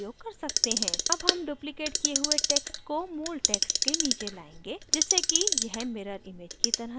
अब हम duplicated किये हुए text को मूल text के नीचे लायेंगे जिससे की यह mirror image की तरह दिखे